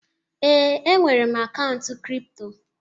Ee, enwere m akaụntụ kripto.